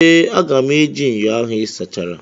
Ee, aga m eji ṅyọ ahụ ị sachara.